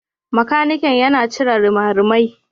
Makaniki yana cire rimarimai.